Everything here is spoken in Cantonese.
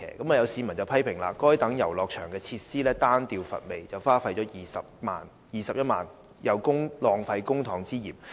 有市民批評，該等遊樂設施單調乏味，花費21萬元有浪費公帑之嫌。